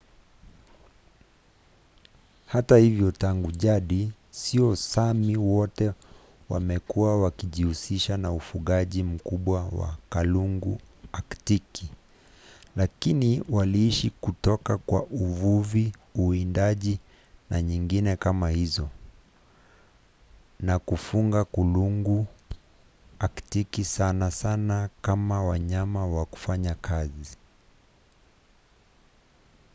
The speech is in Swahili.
hata hivyo tangu jadi sio sami wote wamekuwa wakijihusisha na ufugaji mkubwa wa kulungu aktiki lakini waliishi kutoka kwa uvuvi uwindaji na nyingine kama hizo na kufuga kulungu aktiki sana sana kama wanyama wa kufanya kazi